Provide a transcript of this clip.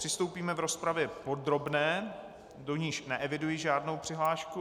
Přistoupíme k rozpravě podrobné, do níž neeviduji žádnou přihlášku.